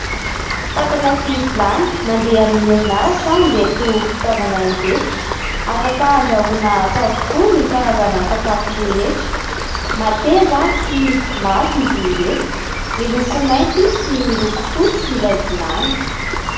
Fatana sy vilany mandeha amin'ny herinaratra ireto fitaovana ireto, afaka handrahoana ato avokoa ny karazana sakafo rehetra. Mateza sy mafy izy ireto miloko mainty sy miloko fotsy ilay vilany.